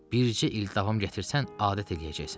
Bircə il davam gətirsən, adət eləyəcəksən.